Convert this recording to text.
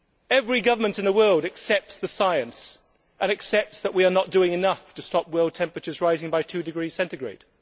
Every government in the world accepts the science and accepts that we are not doing enough to stop world temperatures rising by two degrees centigrade.